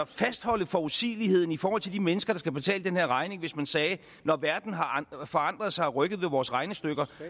fastholde forudsigeligheden i forhold til de mennesker der skal betale den her regning hvad hvis man sagde når verden har forandret sig og rykket ved vores regnestykker